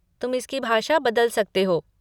तुम इसकी भाषा बदल सकते हो।